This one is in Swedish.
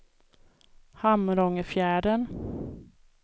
Hamrångefjärden